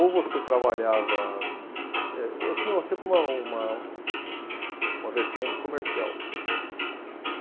Ou você trabalhava, eh, Eu tinha uma sempre uma uma, uma vertente comercial.